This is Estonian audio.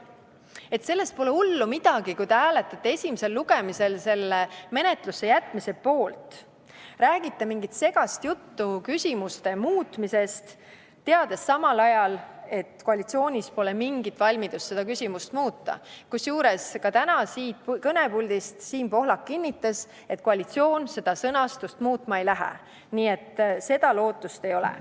Et pole nagu hullu midagi, kui te hääletate esimesel lugemisel menetlusse jätmise poolt, räägite mingit segast juttu küsimuse muutmisest, teades samal ajal, et koalitsioonis pole mingit valmidust seda küsimust muuta, kusjuures ka täna siit kõnepuldist Siim Pohlak kinnitas, et koalitsioon seda sõnastust muutma ei lähe, nii et seda lootust ei ole.